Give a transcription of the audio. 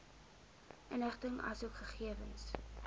inligting asook gegewens